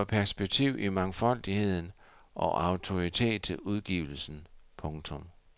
Det giver perspektiv i mangfoldigheden og autoritet til udgivelsen. punktum